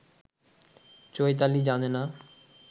চৈতালি জানে না